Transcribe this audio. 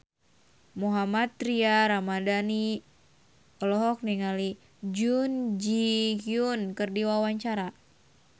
Mohammad Tria Ramadhani olohok ningali Jun Ji Hyun keur diwawancara